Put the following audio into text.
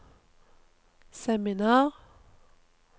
seminar